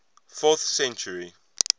fourth century